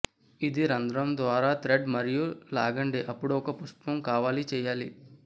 ఇది రంధ్రం ద్వారా థ్రెడ్ మరియు లాగండి అప్పుడు ఒక పుష్పం కావాలి చేయాలి